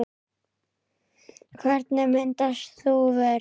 Hvernig myndast þúfur?